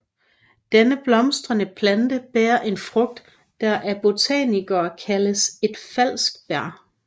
Denne blomstrende plante bærer en frugt der af botanikere kaldes et falsk bær